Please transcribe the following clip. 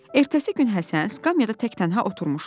Ertəsi gün Həsən skamyada təh-tənha oturmuşdu.